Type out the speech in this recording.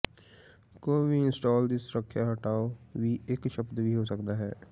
ਕੋਈ ਵੀ ਇੰਸਟਾਲ ਦੀ ਸੁਰੱਖਿਆ ਹਟਾਓ ਵੀ ਇੱਕ ਸ਼ਬਦ ਵੀ ਹੋ ਸਕਦਾ ਹੈ